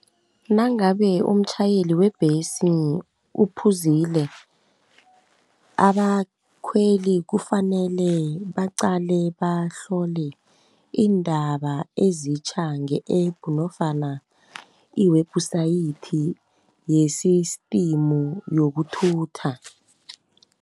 Nangabe umtjhayeli webhesi uphuzile, akakhweli kufanele baqale bahlole iindaba ezitjha nge-App nofana iwebhusayithi yesistimu yokuthutha.